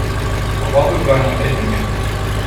Povabil ga je na treninge.